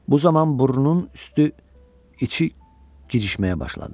Bu zaman burnunun üstü, içi girişməyə başladı.